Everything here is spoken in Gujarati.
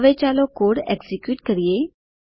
હવે ચાલો કોડ એક્ઝીક્યુટ કરીએ